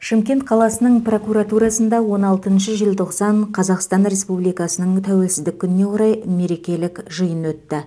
шымкент қаласының прокуратурасында он алтыншы желтоқсан қазақстан республикасының тәуелсіздік күніне орай мерекелік жиын өтті